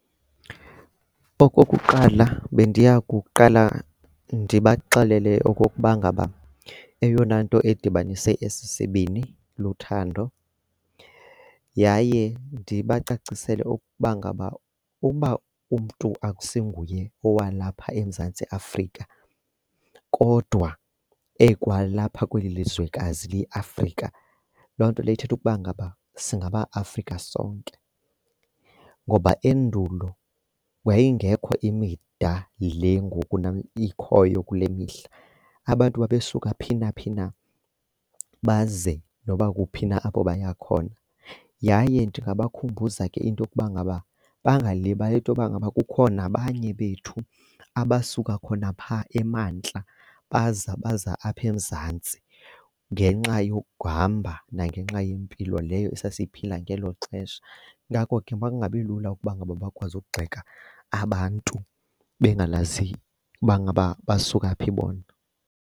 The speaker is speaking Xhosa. Okokuqala, bendiya kuqala ndibaxelele okokuba ngaba eyona nto edibanise esi sibini luthando, yaye ndibacacisele ukuba ngaba ukuba umntu akusinguye owalapha eMzantsi Afrika kodwa ekwalapha kweli lizwekazi liyiAfrika loo nto leyo ithetha ukuba ngaba singamaAfrika sonke. Ngoba endulo yayingekho imida le ngoku ikhoyo kule mihla. Abantu babesuka phi naphi na baze noba kuphi na apho baya khona, yaye ndingabakhumbuza ke into yokuba ngaba bangalibali bantu into yokuba ngaba kukho nabanye bethu abasuka khona phaa emantla baza baza apha eMzantsi ngenxa yokuhamba nangenxa yempilo leyo esasiyiphila ngelo xesha ngako ke makungabi lula ukuba ngaba bakwazi ukugxeka abantu bengayazi uba ngaba basuka phi bona.